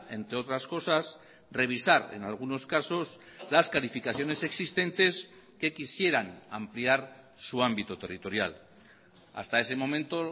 entre otras cosas revisar en algunos casos las calificaciones existentes que quisieran ampliar su ámbito territorial hasta ese momento